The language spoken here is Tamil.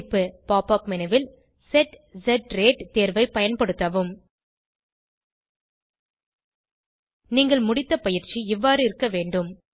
குறிப்பு pop உப் மேனு ல் செட் ஸ் ரேட் தேர்வை பயன்படுத்தவும் நீங்கள் முடித்த பயிற்சி இவ்வாறு இருக்க வேண்டும்